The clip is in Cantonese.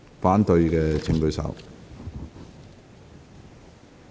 反對的請舉手。